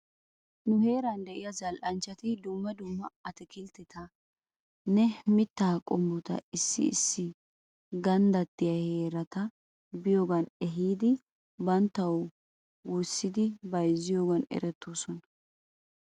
Nu heeran de'iyaa zal'anchchati dumma dumma ataakilttetanne mittaa qommota issi issi ganddattiyaa heerata biyoogan ehiidi banttaw worissidi bayzziyoovan eretoosona .